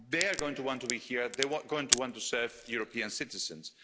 They are going to want to be here, they are going to want to serve European citizens.